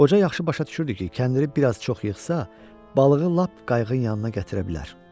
Qoca yaxşı başa düşürdü ki, kəndiri bir az çox yığsa, balığı lap qayığın yanına gətirə bilər.